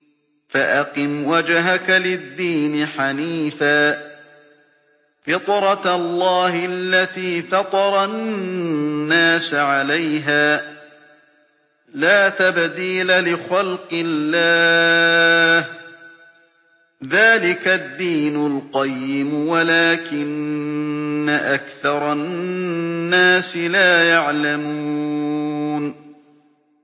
فَأَقِمْ وَجْهَكَ لِلدِّينِ حَنِيفًا ۚ فِطْرَتَ اللَّهِ الَّتِي فَطَرَ النَّاسَ عَلَيْهَا ۚ لَا تَبْدِيلَ لِخَلْقِ اللَّهِ ۚ ذَٰلِكَ الدِّينُ الْقَيِّمُ وَلَٰكِنَّ أَكْثَرَ النَّاسِ لَا يَعْلَمُونَ